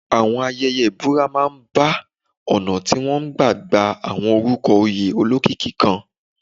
Àwọn ayẹyẹ ìbúra máa ń bá ọ̀nà tí wọ́n gbà ń gba àwọn orúkọ oyè olókìkí kan.